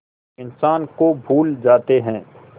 इंसान को भूल जाते हैं